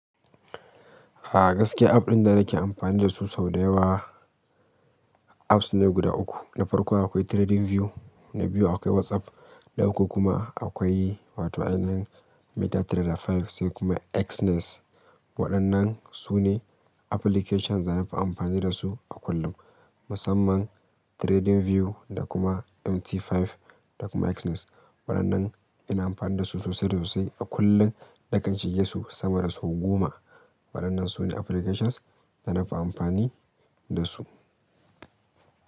A gaskiya app din da nake amfani da su, sau dayawa apps ne guda uku na farko akwai TradingView, na biyu akwai WhatsApp, na uku kuma akwai wato ainihin MetaTrader five sai kuma Exness. Waɗannan su ne applications da nafi amfani da su a kullum. Musamman TradingView da kuma MT5 da kuma Exness. Waɗannan ina amfani da su sosai sosai a kullum. Na kan shige su sama da sau goma. Waɗannan su ne applications da nafi amfani da su.